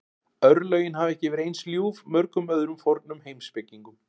Örlögin hafa ekki verið eins ljúf mörgum öðrum fornum heimspekingum.